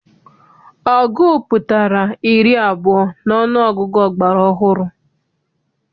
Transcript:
Ọgụ pụtara iri abụọ n'ọnụọgụgụ ọgbara ọhụrụ.